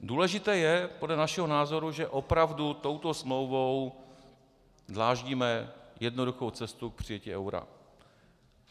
Důležité je podle našeho názoru, že opravdu touto smlouvou dláždíme jednoduchou cestu k přijetí eura.